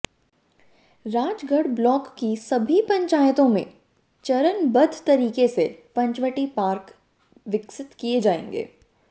Rajgarh block की सभी पंचायतों में चरणबद्ध तरीके से पंचवटी पार्क विकसित किए जाएंगें